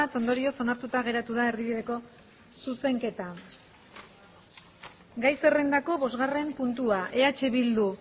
ondorioz onartuta geratu da erdibideko zuzenketa gai zerrendako bosgarren puntua eh bildu